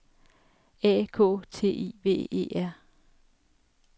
A K T I V E R